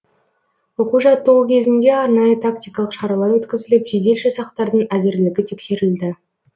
оқу жаттығу кезінде арнайы тактикалық шаралар өткізіліп жедел жасақтардың әзірлігі тексерілді